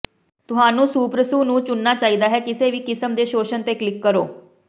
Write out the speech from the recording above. ਤੁਹਾਨੂੰ ਸੁਪਰਸੁ ਨੂੰ ਚੁਣਨਾ ਚਾਹੀਦਾ ਹੈ ਕਿਸੇ ਵੀ ਕਿਸਮ ਦੇ ਸ਼ੋਸ਼ਣ ਤੇ ਕਲਿਕ ਕਰੋ